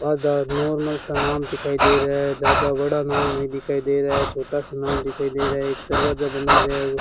आजाद normal सा नाम दिखाई दे रहा है ज्यादा बड़ा नाम नहीं दिखाई दे रहा है छोटा सा नाम दिखाई दे रहा है एक दरवाजा बना गया हु --